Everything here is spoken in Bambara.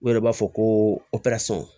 U yɛrɛ b'a fɔ ko